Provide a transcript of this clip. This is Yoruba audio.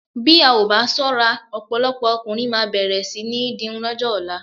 Bí a ò bá ṣọ́ra ọ̀pọ̀ ọkùnrin máa bẹ̀rẹ̀ sí ní dirun lọ́jọ́ ọ̀la.